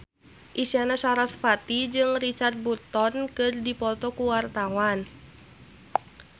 Isyana Sarasvati jeung Richard Burton keur dipoto ku wartawan